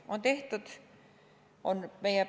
On tehtud!